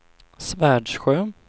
Svärdsjö